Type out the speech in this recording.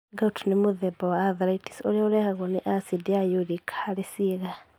Gout nĩ nĩ mũtheba wa arthritis ũrĩa ũrehagwo nĩ acidi ya uric harĩ ciĩga.